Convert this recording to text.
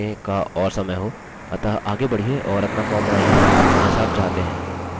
मैं चाहता हूँ कि मेरे पास यह करने का और समय हो अतः आगे बढ़िये और अपना फॉर्म बनाइए जैसा आप चाहते हैं